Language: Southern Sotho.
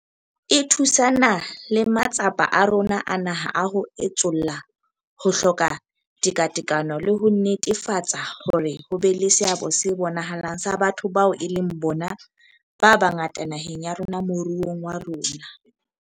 E thusana le matsapa a rona a naha a ho etsolla ho hloka tekatekano le ho netefatsa hore ho be le seabo se bonahalang sa batho bao e leng bona ba bangata naheng ya rona moruong wa rona.